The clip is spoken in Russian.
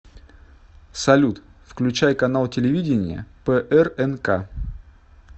салют включай канал телевидения прнк